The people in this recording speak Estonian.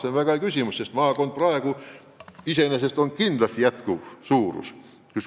See on väga hea küsimus, sest maakond iseenesest on püsiv üksus.